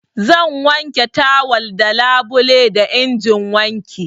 Zan wanke tawal da labule da injin wanki.